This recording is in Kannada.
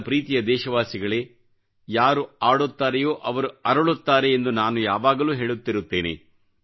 ನನ್ನ ಪ್ರೀತಿಯ ದೇಶವಾಸಿಗಳೇಯಾರು ಆಡುತ್ತಾರೆಯೋ ಅವರು ಅರಳುತ್ತಾರೆ ಎಂದು ನಾನು ಯಾವಾಗಲೂ ಹೇಳುತ್ತಿರುತ್ತೇನೆ